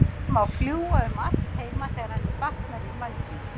Hún má fljúga um allt heima þegar henni batnar í vængnum.